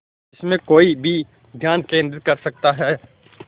जिसमें कोई भी ध्यान केंद्रित कर सकता है